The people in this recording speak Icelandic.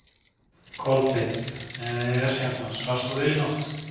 Kolbeinn: Er hérna, svafst þú vel í nótt?